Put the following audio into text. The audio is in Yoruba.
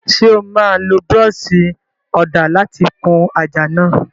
Ṣé o máa lo búrọ́ọ̀ṣì ọ̀dà láti kun àjà náà?